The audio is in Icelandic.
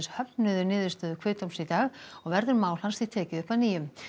höfnuðu niðurstöðu kviðdóms í dag og verður mál hans því tekið upp að nýju